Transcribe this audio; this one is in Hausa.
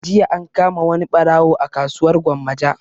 Jiya an kama wani ɓarawo a kasuwar gwammaja